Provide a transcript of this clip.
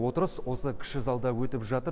отырыс осы кіші залда өтіп жатыр